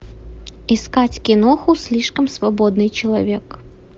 искать киноху слишком свободный человек